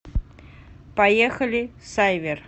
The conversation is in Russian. поехали сайвер